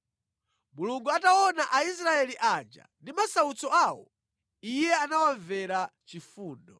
Mulungu ataona Aisraeli aja ndi masautso awo, Iye anawamvera chifundo.